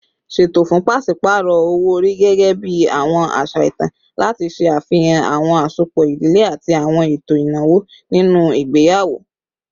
Ṣeto fun paṣipaarọ owo-ori, gẹgẹbi awọn aṣa itan, lati ṣe afihan awọn asopọ idile ati awọn eto inawo ninu igbeyawo